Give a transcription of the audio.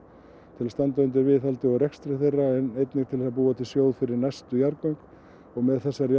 til að standa undir viðhaldi og rekstri þeirra en einnig til að búa til sjóð fyrir næstu jarðgöng og með þessari